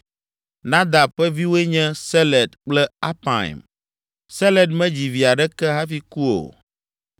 Nadab ƒe viwoe nye Seled kple Apaim. Seled medzi vi aɖeke hafi ku o.